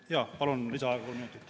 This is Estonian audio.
Jaa, palun lisaaega kolm minutit.